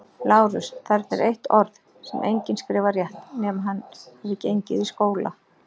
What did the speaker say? LÁRUS: Þarna er eitt orð, sem enginn skrifar rétt, nema hann hafi gengið í skóla.